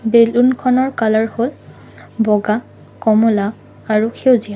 বেলুনখনৰ colour হ'ল বগা কমলা আৰু সেউজীয়া।